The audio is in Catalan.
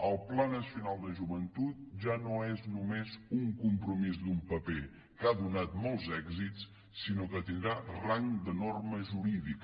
el pla nacional de joventut ja no és només un compromís d’un paper que ha donat molts èxits sinó que tindrà rang de norma jurídica